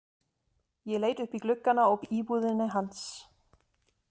Ég leit upp í gluggana á íbúðinni hans.